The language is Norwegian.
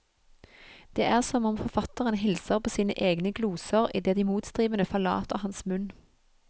Det er som om forfatteren hilser på sine egne gloser, idet de motstrebende forlater hans munn.